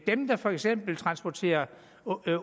dem der for eksempel transporterer